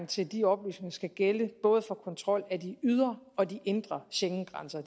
til de oplysninger skal gælde både for kontrol af de ydre og de indre schengengrænser